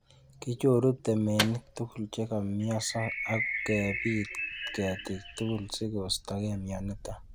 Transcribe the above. Kichoru temenik tugul chekomioso ok kebit ketik tugul sigostogei mioniton